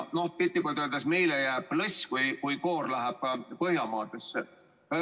Piltlikult öeldes meile jääb lõss, koor läheb Põhjamaadesse.